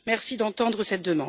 Merci d'entendre cette demande.